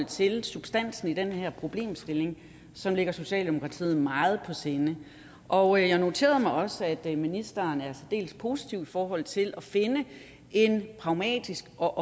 til substansen i den her problemstilling som ligger socialdemokratiet meget på sinde og jeg noterede mig også at ministeren er særdeles positiv i forhold til at finde en pragmatisk og